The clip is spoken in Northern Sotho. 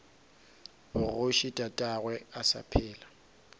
bogoši tatagwe a sa phela